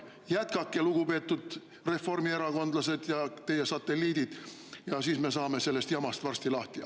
Jätkake, lugupeetud reformierakondlased ja teie satelliidid, ja siis me saame sellest jamast varsti lahti.